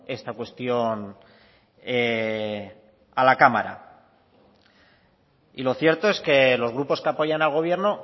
esta cuestión a la cámara y lo cierto es que los grupos que apoyan al gobierno